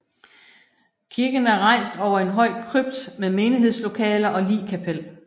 Kirken er rejst over en høj krypt med menighedslokaler og ligkapel